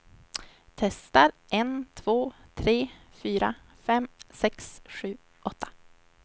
Testar en två tre fyra fem sex sju åtta.